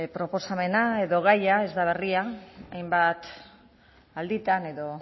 proposamena edo gaia ez da berria hainbat alditan edo